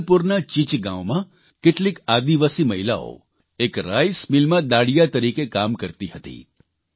જબલપુરના ચીચગાંવમાં કેટલીક આદિવાસી મહિલાઓ એક રાઇસમિલમાં દાડિયા તરીકે કામ કરતી હતી